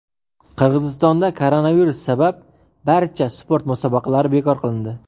Qirg‘izistonda koronavirus sabab barcha sport musobaqalari bekor qilindi.